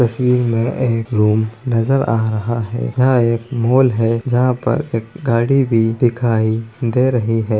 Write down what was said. तस्वीर में एक रूम नजर आ रहा है| यह एक मॉल है जहाँ पर एक गाड़ी भी दिखाई दे रही है।